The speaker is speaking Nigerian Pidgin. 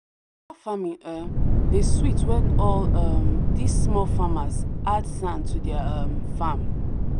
farming um dey sweet when all um this small farmers add sand to their um farm.